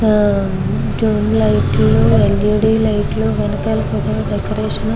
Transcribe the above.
tube light లు LED light లు ఎనకాల డెకొరేషను --